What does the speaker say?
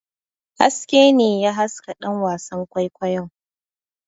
Haske ne ya haska ɗan wasan kwaikwayon.